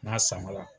N'a samara